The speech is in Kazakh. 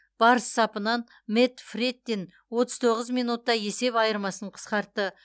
барыс сапынан мэтт фрэттин отыз тоғыз минутта есеп айырмасын қысқартты